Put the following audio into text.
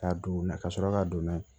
K'a don u na ka sɔrɔ ka don n'a ye